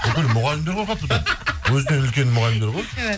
бүкіл мұғалімдер қорқады бұдан өзінен үлкен мұғалімдер ғой